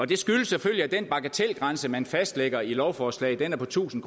det skyldes selvfølgelig at den bagatelgrænse man fastlægger i lovforslaget er på tusind